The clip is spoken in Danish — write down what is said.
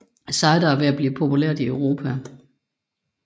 Cider er ved at blive populært i Europa